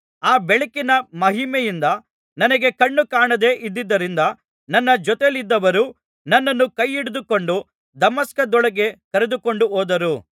ಆ ಬೆಳಕಿನ ಮಹಿಮೆಯಿಂದ ನನಗೆ ಕಣ್ಣುಕಾಣದೆ ಇದ್ದುದರಿಂದ ನನ್ನ ಜೊತೆಯಲ್ಲಿದ್ದವರು ನನ್ನನ್ನು ಕೈಹಿಡಿದುಕೊಂಡು ದಮಸ್ಕದೊಳಕ್ಕೆ ಕರೆದುಕೊಂಡುಹೋದರು